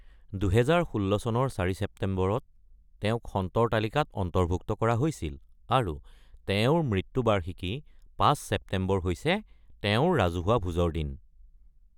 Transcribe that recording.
২০১৬ চনৰ ৪ ছেপ্টেম্বৰত তেওঁক সন্তৰ তালিকাত অন্তৰ্ভুক্ত কৰা হৈছিল, আৰু তেওঁৰ মৃত্যু বাৰ্ষিকী ৫ ছেপ্টেম্বৰ হৈছে তেওঁৰ ৰাজহুৱা ভোজৰ দিন।